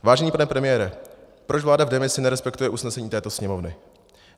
Vážený pane premiére, proč vláda v demisi nerespektuje usnesení této Sněmovny?